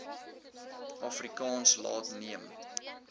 afrikaans laat neem